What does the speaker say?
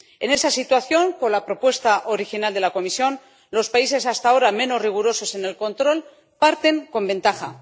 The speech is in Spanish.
En esa situación, con la propuesta original de la Comisión los países hasta ahora menos rigurosos en el control parten con ventaja.